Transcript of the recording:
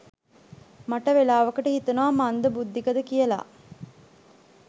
මට වෙලාවකට හිතෙනවා මන්ද බුද්ධිකද කියලා.